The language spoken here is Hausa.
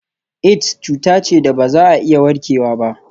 Aids cuta ce da ba za a iya warkewa ba.